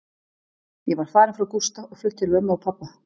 Ég var farin frá Gústa og flutt til mömmu og pabba.